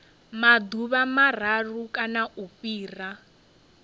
maḓuvha mararu kana u fhira